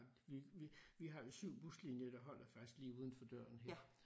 Vi vi vi har jo 7 buslinjer der holder faktisk lige uden for døren her